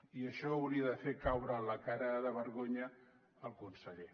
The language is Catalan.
i això hauria de fer caure la cara de vergonya al conseller